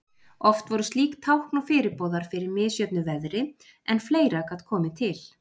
Oft voru slík tákn og fyrirboðar fyrir misjöfnu veðri, en fleira gat komið til.